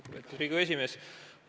Lugupeetud Riigikogu esimees!